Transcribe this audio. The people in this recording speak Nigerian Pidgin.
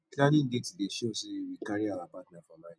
planning dates dey show say we carry our partner for mind